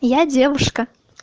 я девушка